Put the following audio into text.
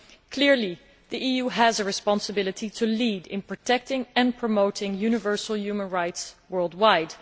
Clearly the EU has a responsibility to lead in protecting and promoting universal human rights worldwide.